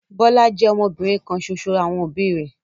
Bọ́lá jẹ́ ọmọbìnrin kan ṣoṣo àwọn òbí rẹ̀.